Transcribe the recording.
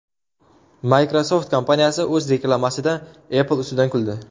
Microsoft kompaniyasi o‘z reklamasida Apple ustidan kuldi .